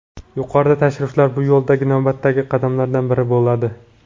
Yuqoridagi tashriflar bu yo‘ldagi navbatdagi qadamlardan biri bo‘ladi.